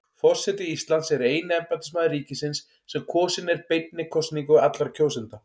Forseti Íslands er eini embættismaður ríkisins sem kosinn er beinni kosningu allra kjósenda.